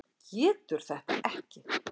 Getur þetta ekki.